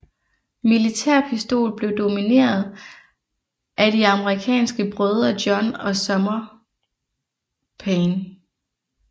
Militærpistol blev domineret af de amerikanske brødre John og Sumner Paine